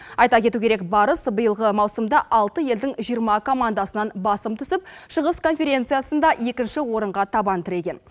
айта кету керек барыс биылғы маусымда алты елдің жиырма командасынан басым түсіп шығыс конференциясында екінші орынға табан тіреген